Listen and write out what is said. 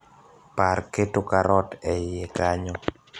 par keto karot e iye kanyo